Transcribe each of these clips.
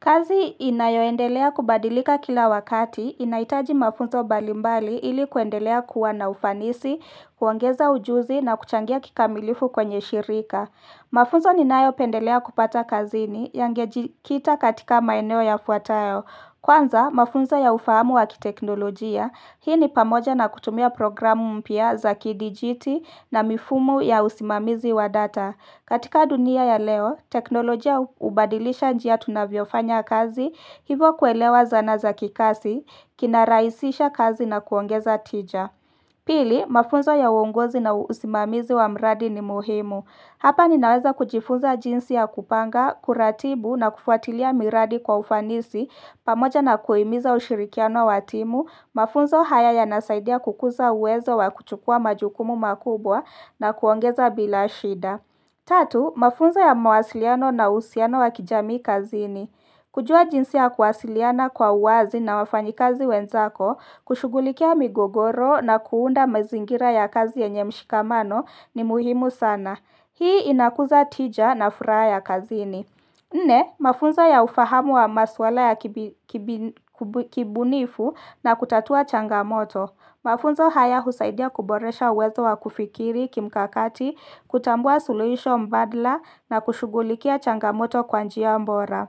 Kazi inayoendelea kubadilika kila wakati, inahitaji mafunzo mbalimbali ili kuendelea kuwa na ufanisi, kuongeza ujuzi na kuchangia kikamilifu kwenye shirika. Mafunzo ninayo pendelea kupata kazini yangejikita katika maeneo yafuatayo. Kwanza, mafunzo ya ufahamu wa kiteknolojia, hii ni pamoja na kutumia programu mpya za kidijiti na mifumo ya usimamizi wa data. Katika dunia ya leo, teknolojia hubadilisha njia tunavyofanya kazi, hivyo kuelewa zana za kikazi, kinarahisisha kazi na kuongeza tija. Pili, mafunzo ya uongozi na usimamizi wa mradi ni muhimu. Hapa ninaweza kujifunza jinsi ya kupanga, kuratibu na kufuatilia miradi kwa ufanisi, pamoja na kuhimiza ushirikiano wa timu, mafunzo haya yanasaidia kukuza uwezo wa kuchukua majukumu makubwa na kuongeza bila shida. Tatu, mafunzo ya mawasiliano na uhusiano wa kijamii kazini. Kujua jinsi ya kuwasiliana kwa uwazi na wafanyikazi wenzako, kushughulikia migogoro na kuunda mazingira ya kazi yenye mshikamano ni muhimu sana. Hii inakuza tija na furaha ya kazini. Nne, mafunzo ya ufahamu wa masuala ya kibunifu na kutatua changamoto. Mafunzo haya husaidia kuboresha uwezo wa kufikiri kimkakati, kutambua solution mbadala na kushughulikia changamoto kwa njia bora.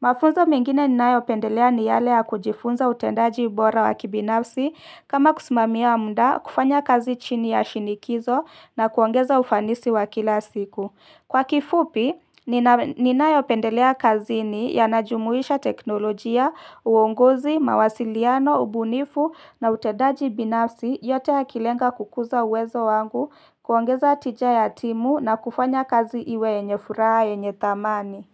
Mafunzo mengine ninayopendelea ni yale ya kujifunza utendaji bora wa kibinafsi kama kusimamia muda, kufanya kazi chini ya shinikizo na kuongeza ufanisi wa kila siku. Kwa kifupi, ninayopendelea kazini yanajumuisha teknolojia, uongozi, mawasiliano, ubunifu na utendaji binafsi yote yakilenga kukuza uwezo wangu kuongeza tija ya timu na kufanya kazi iwe yenye furaha yenye thamani.